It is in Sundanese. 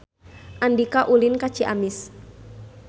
Andika ulin ka Ciamis